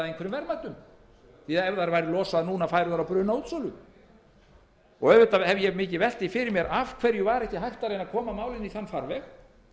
því að ef þær væru losaðar núna færu þær á brunaútsölu auðvitað hef ég velt því mikið fyrir mér af hverju ekki var hægt að reyna að koma málinu í þann farveg